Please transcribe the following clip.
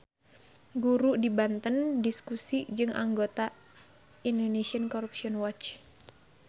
Guru di Banten diskusi jeung anggota ICW